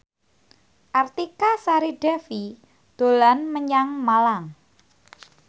Artika Sari Devi dolan menyang Malang